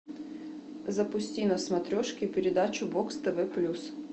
запусти на смотрешке передачу бокс тв плюс